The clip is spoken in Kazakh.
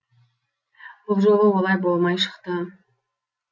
бұл жолы олай болмай шықты